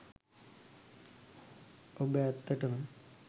ඔබ ඇත්තටම